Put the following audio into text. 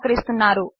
వారు సహకరిస్తున్నారు